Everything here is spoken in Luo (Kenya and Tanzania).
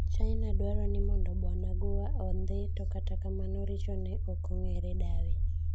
China dwaro ni mondo Bwana Gua ondhii to kata kamano orichone ok ong'eere dawe.